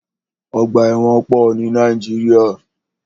Ọgbà ẹ̀wọ̀n pọ̀ ní Nàíjíríà.